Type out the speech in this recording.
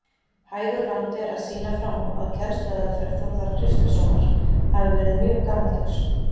Hægur vandi er að sýna fram á að kennsluaðferð Þórðar Kristleifssonar hafi verið mjög gamaldags.